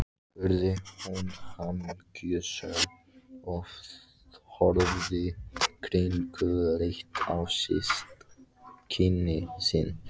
spurði hún hamingjusöm, og horfði kringluleit á systkini sín.